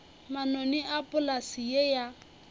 manoni a polase ye ya